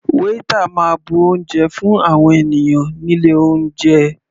Waiter máa bu oúnjẹ fún àwọn ènìyàn nílé oúnjẹ.